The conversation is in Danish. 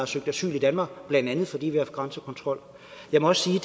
søgt asyl i danmark blandt andet fordi vi har haft grænsekontrol jeg må også sige at